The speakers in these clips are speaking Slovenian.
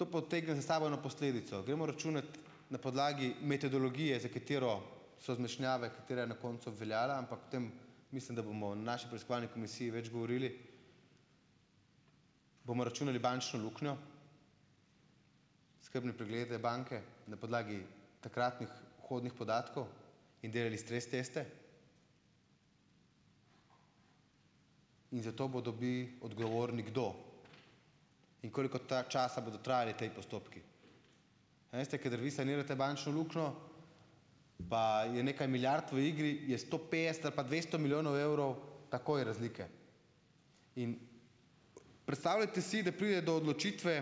To potegne za sabo eno posledico. Gremo računati na podlagi metodologije, za katero so zmešnjave, katera je na koncu obveljala, ampak o tem mislim, da bomo o naši preiskovalni komisiji več govorili, bomo računali bančno luknjo, skrbne preglede banke na podlagi takratnih vhodnih podatkov in delali stres teste? In zato bodo bi odgovorni kdo? In koliko časa bodo trajali ti postopki? Veste, kadar vi sanirate bančno luknjo, pa je nekaj milijard v igri, je sto petdeset ali pa dvesto milijonov evrov takoj razlike. In predstavljajte si, da pride do odločitve,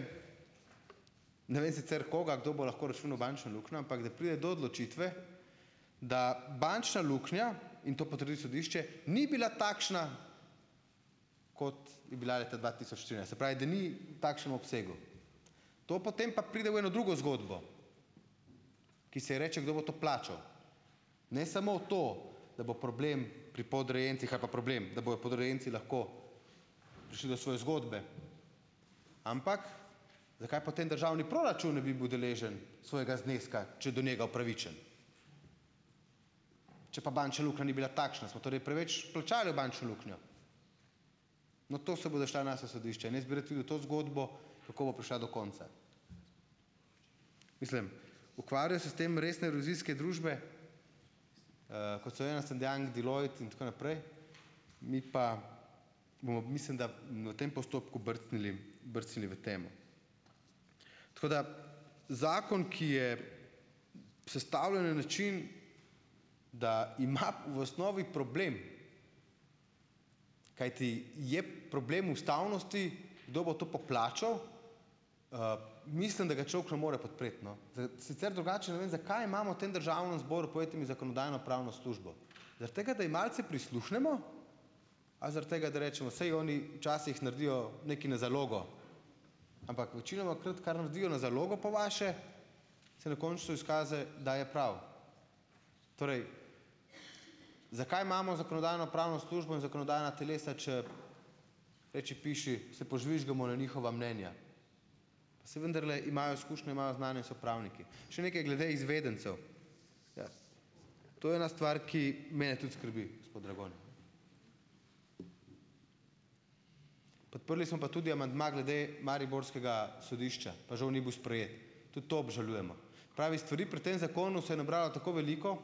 ne vem sicer koga, kdo bo lahko računal bančno luknjo, ampak da pride do odločitve, da bančna luknja, in to potrdi sodišče, ni bila takšna, kot je bila leta dva tisoč trinajst. Se pravi, da ni takšnem obsegu. To potem pa pride v eno drugo zgodbo, ki se ji reče, kdo bo to plačal? Ne samo to, da bo problem pri podrejencih ali pa problem, da bojo podrejenci lahko prišli do svoje zgodbe, ampak, zakaj potem državni proračun ne bi bil deležen svojega zneska, če do njega upravičen? Če pa bančna luknja ni bila takšna, smo torej preveč plačali v bančno luknjo. No to se bodo šla naša sodišča in jaz bi rad videl to zgodbo, kako bo prišla do konca. Mislim, ukvarjajo se s tem resne revizijske družbe, kot so Ernst and Young, Deloitte in tako naprej. Mi pa bomo, mislim, da v tem postopku brcnili, brcnili v temo. Tako da zakon, ki je sestavljen na način, da ima v osnovi problem, kajti je problem ustavnosti, kdo bo to poplačal, mislim, da ga človek ne more podpreti, no. sicer drugače ne vem zakaj imamo v tem Državnem zboru, povejte mi, Zakonodajno-pravno službo? Zaradi tega, da ji malce prisluhnemo, a zaradi tega, da rečemo, saj oni včasih naredijo nekaj na zalogo. Ampak večinomakrat, kar naredijo na zalogo po vaše, se dokončno izkaže, da je prav. Torej, zakaj imamo Zakonodajno-pravno službo in zakonodajna telesa, če reči piši, se požvižgamo na njihova mnenja. Se vendarle imajo izkušnje, imajo znanje, so pravniki. Še nekaj glede izvedencev. Ja. To je ena stvar, ki mene tudi skrbi, gospod Dragonja. Podprli smo pa tudi amandma glede mariborskega sodišča. Pa žal ni bil sprejet. Tudi to obžalujemo. Pravi, stvari pri tem zakonu se je nabralo tako veliko,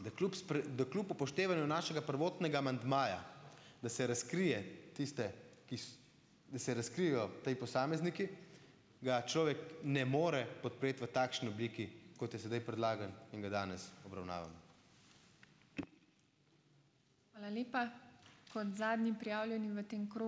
da kljub da kljub upoštevanju našega prvotnega amandmaja, da se razkrije tiste, da se razkrijejo ti posamezniki, ga človek ne more podpreti v takšni obliki, kot je sedaj predlagan in ga danes obravnavamo.